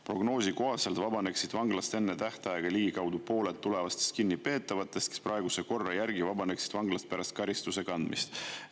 Prognoosi kohaselt vabaneksid vanglast enne tähtaega ligikaudu pooled tulevastest kinnipeetavatest, kes praeguse korra järgi vabaneksid vanglast pärast karistuse kandmist.